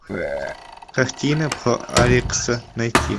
картина про алекса найти